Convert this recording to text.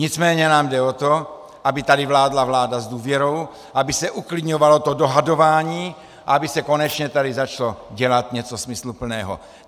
Nicméně nám jde o to, aby tady vládla vláda s důvěrou, aby se uklidňovalo to dohadování a aby se konečně tady začalo dělat něco smysluplného.